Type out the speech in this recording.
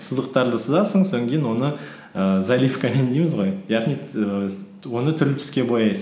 сызықтарды сызасың оны ііі заливкамен дейміз ғой яғни оны түрлі түске бояйсың